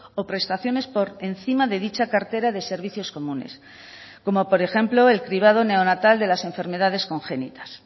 o prestaciones por encima de dicha cartera de servicios comunes como por ejemplo el cribado neonatal de las enfermedades congénitas